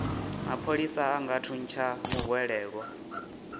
mapholisa a nga thuntsha muhwelelwa